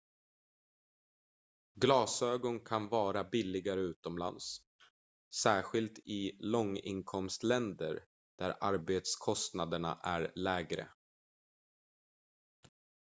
glasögon kan vara billigare utomlands särskilt i långinkomstländer där arbetskostnaderna är lägre